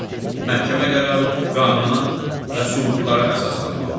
Məhkəmə qərarı qanuna və sübutlara əsaslanmalıdır.